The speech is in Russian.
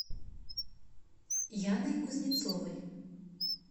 яной кузнецовой